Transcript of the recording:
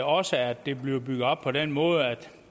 også at det er bygget op på den måde at